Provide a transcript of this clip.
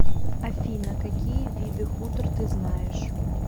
афина какие виды хутор ты знаешь